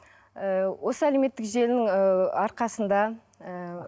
ыыы осы әлеуметтік желінің ыыы арқасында ыыы